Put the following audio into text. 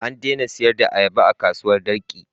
An daina sayar da ayaba a kasuwar Darki.